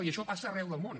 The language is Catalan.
i això passa arreu del món